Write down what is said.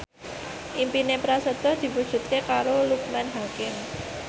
impine Prasetyo diwujudke karo Loekman Hakim